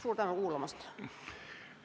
Suur tänu kuulamast!